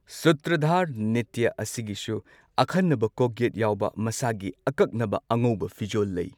ꯁꯨꯇ꯭ꯔꯙꯔ ꯅ꯭ꯔꯤꯇ꯭ꯌ ꯑꯁꯤꯒꯤꯁꯨ ꯑꯈꯟꯅꯕ ꯀꯣꯛꯌꯦꯠ ꯌꯥꯎꯕ ꯃꯁꯥꯒꯤ ꯑꯀꯛꯅꯕ ꯑꯉꯧꯕ ꯐꯤꯖꯣꯜ ꯂꯩ꯫